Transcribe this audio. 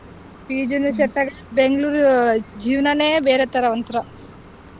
PG ನು set ಆಗೋಲ್ಲ Bangalore ಜೀವ್ನನೆ ಬೇರೆ ತರ ಒಂಥರಾ.